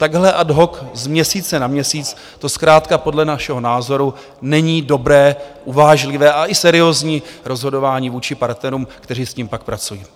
Takhle ad hoc z měsíce na měsíc to zkrátka podle našeho názoru není dobré, uvážlivé a i seriózní rozhodování vůči partnerům, kteří s tím pak pracují.